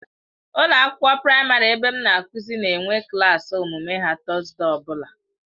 Ụlọ akwụkwọ praịmarị ebe m na-akụzi na-enwe klaasị omume ha Tọzdee ọbụla.